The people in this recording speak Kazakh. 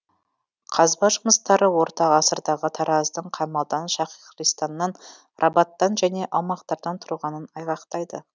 қазба жұмыстары орта ғасырдағы тараздың қамалдан шахристаннан рабаттан және аумақтардан тұрғанын айғақтайды